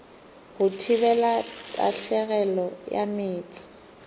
go thibela tahlegelo ya meetse